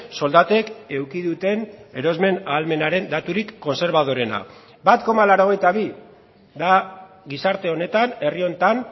soldatek eduki duten erosmen ahalmenaren daturik kontserbadoreena bat koma laurogeita bi da gizarte honetan herri honetan